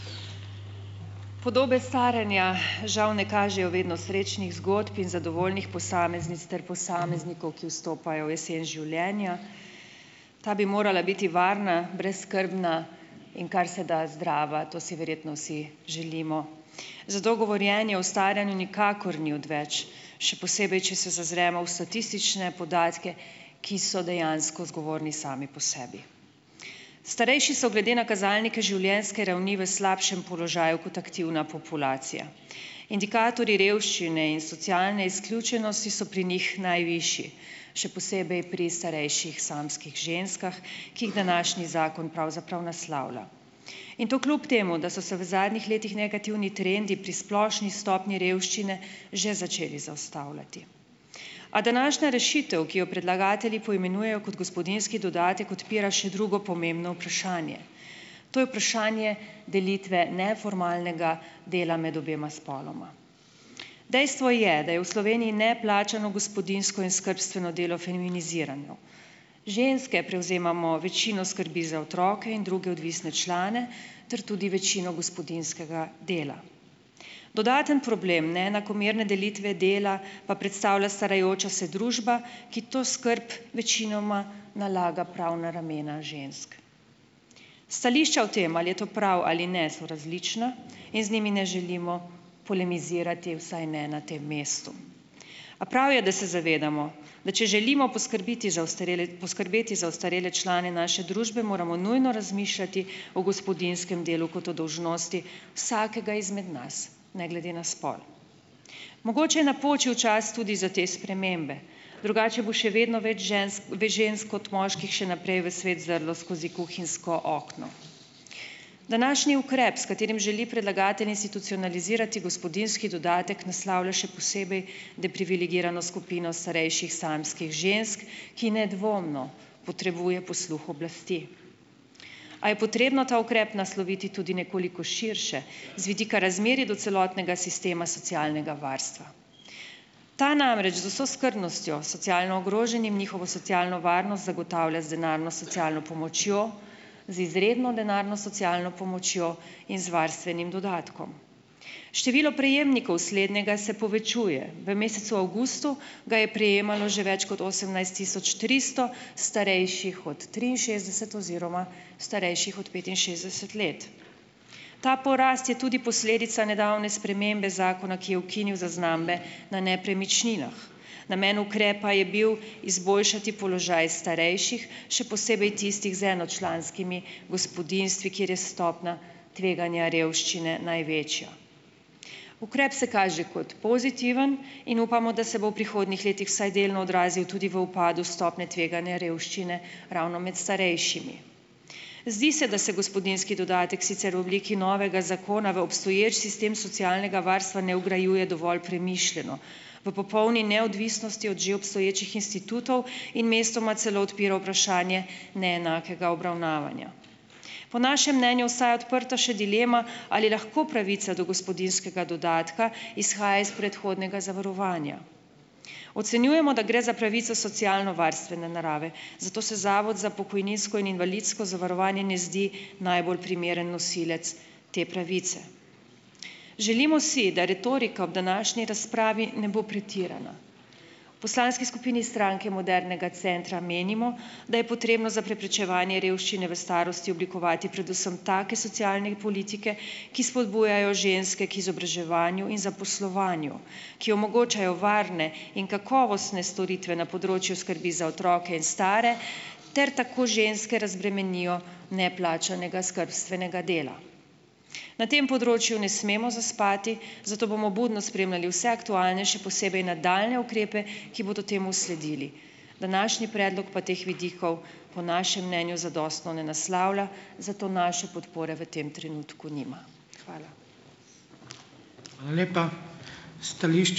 Podobe staranja žal ne kažejo vedno srečnih zgodb in zadovoljnih posameznic ter posameznikov, ki vstopajo v jesen življenja. Ta bi morala biti varna, brezskrbna in kar se da zdrava. To si verjetno vsi želimo. Za to govorjenje o staranju nikakor ni odveč, še posebej, če se zazremo v statistične podatke, ki so dejansko zgovorni sami po sebi. Starejši so glede na kazalnike življenjske ravni v slabšem položaju kot aktivna populacija. Indikatorji revščine in socialne izključenosti so pri njih najvišji, še posebej pri starejših samskih ženskah, ki jih današnji zakon pravzaprav naslavlja in to kljub temu, da so se v zadnjih letih negativni trendi pri splošni stopnji revščine že začeli zaustavljati. A današnja rešitev, ki jo predlagatelji poimenujejo kot gospodinjski dodatek, odpira še drugo pomembno vprašanje, to je vprašanje delitve neformalnega dela med obema spoloma. Dejstvo je, da je v Sloveniji neplačano gospodinjsko in skrbstveno delo feminizirano. Ženske prevzemamo večino skrbi za otroke in druge odvisne člane ter tudi večino gospodinjskega dela. Dodaten problem neenakomerne delitve dela pa predstavlja starajoča se družba, ki to skrb večinoma nalaga prav na ramena žensk. Stališča o tem, ali je to prav ali ne, so različna in z njimi ne želimo polemizirati, vsaj je ne tem mestu. A prav je, da se zavedamo, da če želimo poskrbeti za ostarele, poskrbeti za ostarele člane naše družbe, moramo nujno razmišljati o gospodinjskem delu, kot o dolžnosti vsakega izmed nas, ne glede na spol. Mogoče je napočil čas tudi za te spremembe, drugače bo še vedno več žensk, več žensk kot moških še naprej v svet zrlo skozi kuhinjsko okno. Današnji ukrep, s katerim želi predlagatelj institucionalizirati gospodinjski dodatek, naslavlja še posebej deprivilegirano skupino starejših samskih žensk, ki nedvomno potrebuje posluh oblasti. A je potrebno ta ukrep nasloviti tudi nekoliko širše z vidika razmerij do celotnega sistema socialnega varstva? Ta namreč z vso skrbnostjo socialno ogroženim njihovo socialno varnost zagotavlja z denarno socialno pomočjo, z izredno denarno socialno pomočjo in z varstvenim dodatkom. Število prejemnikov slednjega se povečuje. V mesecu avgustu ga je prejemalo že več kot osemnajst tisoč tristo starejših od triinšestdeset oziroma starejših od petinšestdeset let. Ta porast je tudi posledica nedavne spremembe zakona, ki je ukinil zaznambe na nepremičninah. Namen ukrepa je bil izboljšati položaj starejših, še posebej tistih z enočlanskimi gospodinjstvi, kjer je stopnja tveganja revščine največja. Ukrep se kaže kot pozitiven in upamo, da se bo v prihodnjih letih vsaj delno odrazil tudi v upadu stopnje tveganja revščine ravno med starejšimi. Zdi se, da se gospodinjski dodatek sicer v obliki novega zakona v obstoječ sistem socialnega varstva ne vgrajuje dovolj premišljeno. V popolni neodvisnosti od že obstoječih institutov in mestoma celo odpira vprašanje neenakega obravnavanja. Po našem mnenju ostaja odprta še dilema, ali lahko pravica do gospodinjskega dodatka izhaja iz predhodnega zavarovanja. Ocenjujemo, da gre za pravico socialnovarstvene narave, zato se Zavod za pokojninsko in invalidsko zavarovanje ne zdi najbolj primeren nosilec te pravice. Želimo si, da retorika ob današnji razpravi ne bo pretirana. V poslanski skupini Stranke modernega centra menimo, da je potrebno za preprečevanje revščine v starosti oblikovati predvsem take socialne politike, ki spodbujajo ženske k izobraževanju in zaposlovanju, ki omogočajo varne in kakovostne storitve na področju skrbi za otroke in stare ter tako ženske razbremenijo neplačanega skrbstvenega dela. Na tem področju ne smemo zaspati, zato bomo budno spremljali vse aktualnejše, posebej nadaljnje ukrepe, ki bodo temu sledili. Današnji predlog pa teh vidikov po našem mnenju zadostno ne naslavlja, zato naše podpore v tem trenutku nima. Hvala.